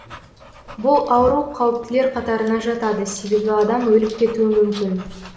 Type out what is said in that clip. бұл ауру қауіптілер қатарына жатады себебі адам өліп кетуі мүмкін